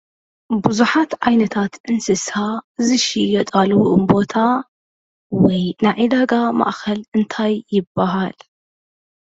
ብዙሓት ዓይነት እንስሳ ዝሽየጣሉ ቦታ ወይ ናይ ዕዳጋ ማእከል እንታይ ይበሃል ?